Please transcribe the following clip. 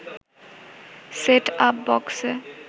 set up বক্সে